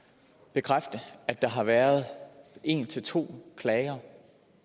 bekræfte at der har været en til to klager